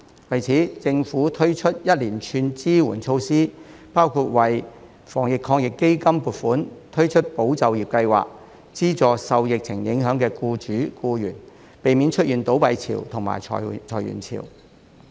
為此，政府推出了一連串支援措施，包括為防疫抗疫基金撥款，推出"保就業"計劃，資助受疫情影響的僱主、僱員，避免出現倒閉潮及裁員潮。